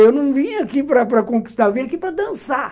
Eu não vim aqui para para conquistar, eu vim aqui para dançar.